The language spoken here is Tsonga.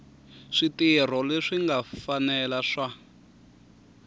switirho leswi nga fanela swa